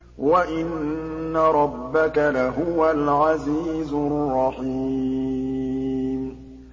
وَإِنَّ رَبَّكَ لَهُوَ الْعَزِيزُ الرَّحِيمُ